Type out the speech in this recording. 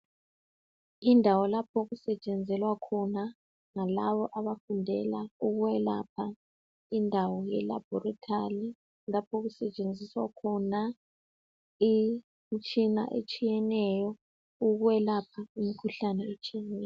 Indawo lapho okusetshenzelwa khona ngalabo abafundela ukwelapha. Indawo yelabhorithari laph' okusetshenziswa khona imithsina etshiyeneyo ukwelapha imkhuhlane etshiyeneyo.